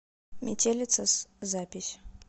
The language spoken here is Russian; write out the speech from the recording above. метелица с запись